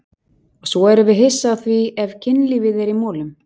Og svo erum við hissa á því ef kynlífið er í molum!